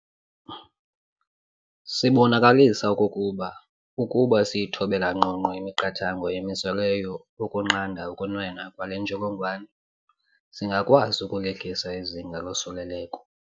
Sibonakalisa okokuba ukuba siyithobela ngqongqo imiqathango emiselweyo ukunqanda ukunwenwa kwale ntsholongwane, singakwazi ukulehlisa izinga losuleleko.